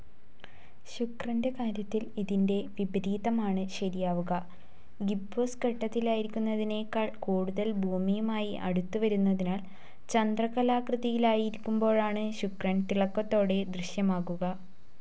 ശുക്രന്റെ കാര്യത്തിൽ ഇതിന്റെ വിപരീതമാണ്‌ ശരിയാവുക, ഗിബ്ബോസ് ഘട്ടത്തിലായിരിക്കുന്നതിനേക്കാൾ കൂടുതൽ ഭൂമിയുമായി അടുത്തുവരുന്നതിനാൽ ചന്ദ്രക്കലാകൃതിയിലായിരിക്കുമ്പോഴാണ്‌ ശുക്രൻ തിളക്കത്തോടെ ദൃശ്യമാകുക.